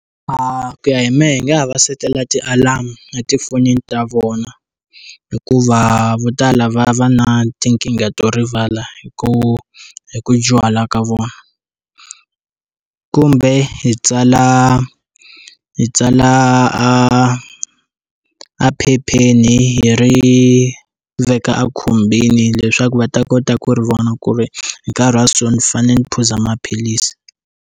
Ku ya hi mehe hi nga ha va setela ti-alarm a tifonini ta vona hikuva vo tala va va na tinkingha to rivala hi ku hi ku dyuhala ka vona kumbe hi tsala hi tsala a a ephepheni hi ri veka a khumbini leswaku va ta kota ku ri vona ku ri hi nkarhi wa so ni fanele ni phuza maphilisi.